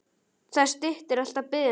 Það styttir alltaf biðina.